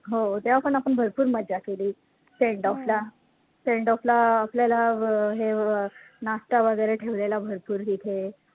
हो तेव्हा पण आपण भरपूर मजा केली sendoff ला sendoff ला आपल्याला अं हे अं नाश्ता वैगरे ठेवलेला भरपूर तिथे